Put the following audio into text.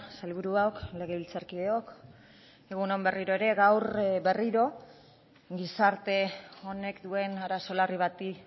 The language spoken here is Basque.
sailburuok legebiltzarkideok egun on berriro ere gaur berriro gizarte honek duen arazo larri bati